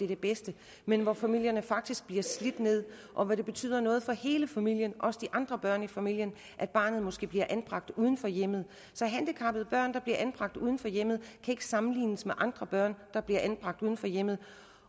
det bedste men hvor familierne faktisk bliver slidt ned og hvor det betyder noget for hele familien også for de andre børn i familien at barnet måske bliver anbragt uden for hjemmet så handicappede børn der bliver anbragt uden for hjemmet kan ikke sammenlignes med andre børn der bliver anbragt uden for hjemmet